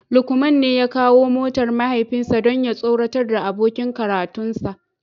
Lukman ne ya kawo motar mahaifinsa don ya tsoratar da abokin karatunsa